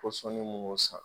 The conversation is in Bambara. Pɔsɔni munnu san